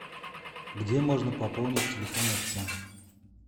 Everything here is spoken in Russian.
где можно пополнить телефон отца